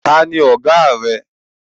Taàní Ọ̀gá rẹ?